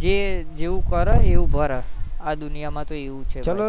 છે જે જેવું કરે એવું ભરે આ દુનિયા માં તો અવું જ છે